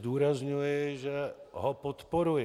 Zdůrazňuji, že ho podporuji.